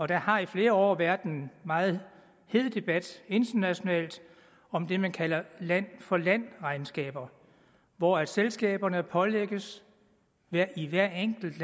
der har i flere år været en meget hed debat internationalt om det man kalder land for land regnskaber hvor selskaberne pålægges i hvert enkelt